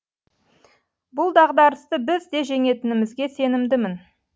бұл дағдарысты біз де жеңетінімізге сенімдімін